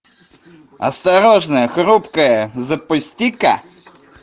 осторожно хрупкое запусти ка